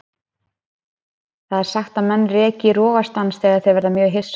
Það er sagt að menn reki í rogastans þegar þeir verða mjög hissa.